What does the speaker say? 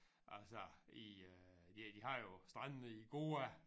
Altså i øh ja de har jo strandene i Goa